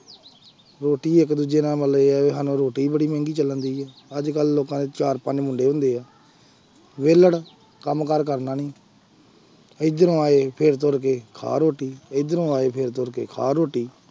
ਰੋਟੀ ਇੱਕ ਦੂਜੇ ਨਾਲ ਮਤਲਬ ਇਹ ਆ ਵੀ ਸਾਨੂੰ ਰੋਟੀ ਬੜੀ ਮਹਿੰਗੀ ਚੱਲਣਦੀ ਹੈ ਅੱਜ ਕੱਲ੍ਹ ਲੋਕਾਂ ਦੇ ਚਾਰ ਪੰਜ ਮੁੰਡੇ ਹੁੰਦੇ ਹੈ ਵਿਹਲੜ, ਕੰਮ ਕਾਰ ਕਰਨਾ ਨੀ ਇੱਧਰੋਂ ਆਏ ਫਿਰ ਤੁਰ ਕੇ ਖਾ ਰੋਟੀ, ਇੱਧਰੋਂ ਆਏ ਫਿਰ ਤੁਰ ਕੇ ਖਾ ਰੋਟੀ।